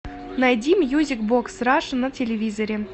найди мьюзик бокс раша на телевизоре